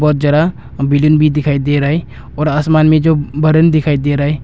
बहुत ज्यादा बिल्डिंग भी दिखाई दे रहा है और आसमान में जो बादल दिखाई दे रहा है।